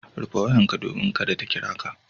Rufe wayarka domin kada ta kira ka.